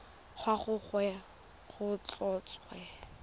wa ga gagwe go tlhotswe